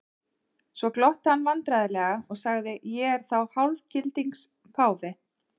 Svo glotti hann vandræðalega og sagði:-Ég er þá hálfgildings páfi?